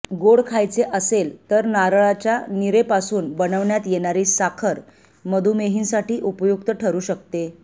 गोड खायचे असेल तर नारळच्या नीरेपासून बनविण्यात येणारी साखर मधुमेहींसाठी उपयुक्त ठरू शकते